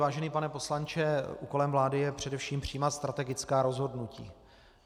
Vážený pane poslanče, úkolem vlády je především přijímat strategická rozhodnutí.